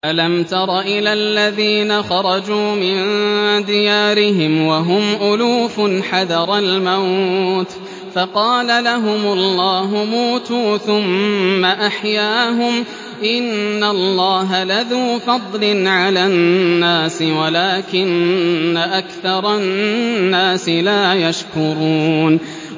۞ أَلَمْ تَرَ إِلَى الَّذِينَ خَرَجُوا مِن دِيَارِهِمْ وَهُمْ أُلُوفٌ حَذَرَ الْمَوْتِ فَقَالَ لَهُمُ اللَّهُ مُوتُوا ثُمَّ أَحْيَاهُمْ ۚ إِنَّ اللَّهَ لَذُو فَضْلٍ عَلَى النَّاسِ وَلَٰكِنَّ أَكْثَرَ النَّاسِ لَا يَشْكُرُونَ